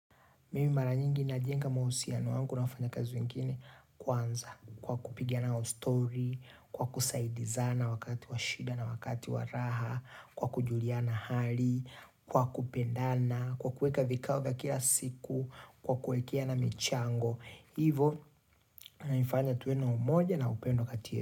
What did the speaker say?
Mimi mara nyingi na jenga mahusiano yangu na wafanyakazi wengine kwanza kwa kupigiana stori, kwa kusaidizana wakati wa shida na wakati wa raha, kwa kujulia na hali, kwa kupendana, kwa kuweka vikao vya kila siku, kwa kuwekeana michango. Hivyo inanifanya tuwe na umoja na upendo kati.